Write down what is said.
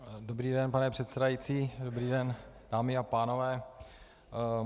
Dobrý den, pane předsedající, dobrý den, dámy a pánové.